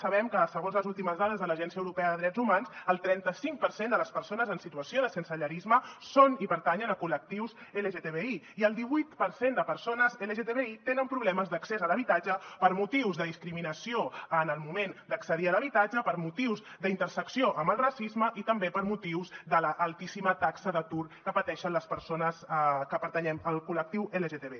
sabem que segons les últimes dades de l’agència europea de drets fonamentals el trenta cinc per cent de les persones en situació de sensellarisme són i pertanyen a col·lectius lgtbi i el divuit per cent de persones lgtbi tenen problemes d’accés a l’habitatge per motius de discriminació en el moment d’accedir a l’habitatge per motius d’intersecció amb el racisme i també per motius de l’altíssima taxa d’atur que pateixen les persones que pertanyen al col·lectiu lgtbi